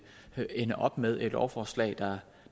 ende op med et lovforslag